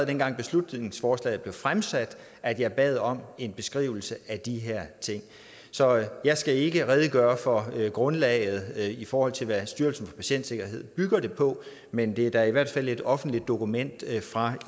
dengang beslutningsforslaget blev fremsat at jeg bad om en beskrivelse af de her ting så jeg skal ikke redegøre for grundlaget i forhold til hvad styrelsen for patientsikkerhed bygger det på men det er da i hvert fald et offentligt dokument fra